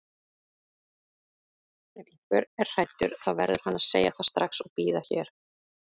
Ef einhver er hræddur þá verður hann að segja það strax og bíða hér.